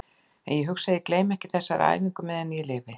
En ég hugsa að ég gleymi ekki þessari æfingu á meðan ég lifi.